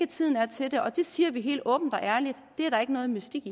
tiden er til det det siger vi helt åbent og ærligt det er der ikke noget mystik